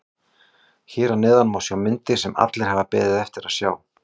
Hér að neðan má sjá myndir sem allir hafa beðið eftir að sjá.